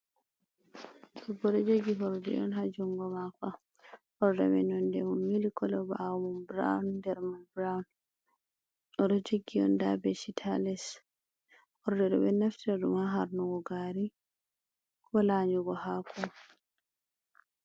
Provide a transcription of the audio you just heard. Debbo do jogi horde on ha jungo mako, horde mai nonde mai ,mili kolo bawo mai borow, der man borown, odo jogi un, da beshit ha les, horde bedo naftira dum ha harnugo gari ko lanigo hako.